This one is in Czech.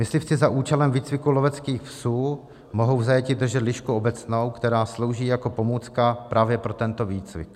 Myslivci za účelem výcviku loveckých psů mohou v zajetí držet lišku obecnou, která slouží jako pomůcka právě pro tento výcvik.